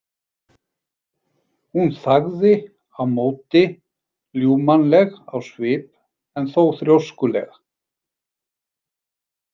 Hún þagði á móti, ljúfmannleg á svip en þó þrjóskulega.